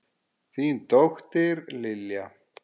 Þín dóttir, Lilja.